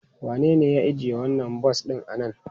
Wanene ya ajiye wannan bas ɗin a nan?